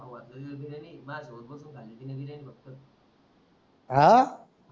आ